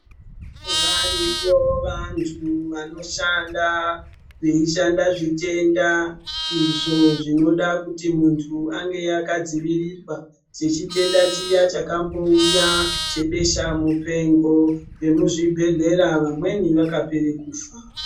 Variyo vantu vanoshanda, veishanda zvitenda izvo zvinoda kuti muntu ange akadzivirirwa, sechitenda chiya chakambouya chebeshamupengo. Vemuzvibhedhlera vamweni vakapere kufa.